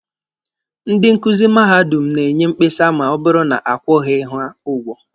Ndị nkuzi madadum na-enye mkpesa ma ọ bụrụ na akwụghị ha ụgwọ.